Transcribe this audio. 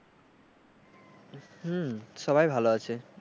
হম সবাই ভালো আছে।